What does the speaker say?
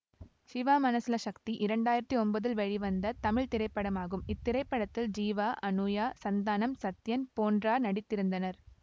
சிவா மனசுல சக்தி இரண்டு ஆயிரத்தி ஒம்போதில் வெளிவந்த தமிழ் திரைப்படமாகும் இத்திரைப்படத்தில் ஜீவா அனுயா சந்தானம் சத்யன் போன்றார் நடித்திருந்தனர்